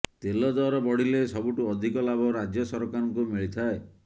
ତେଲ ଦର ବଢିଲେ ସବୁଠୁ ଅଧିକ ଲାଭ ରାଜ୍ୟ ସରକାରଙ୍କୁ ମିଳିଥାଏ